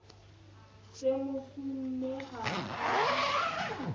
se mo sune ha a